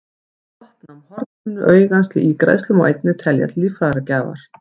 Brottnám hornhimnu augans til ígræðslu má einnig telja til líffæragjafar.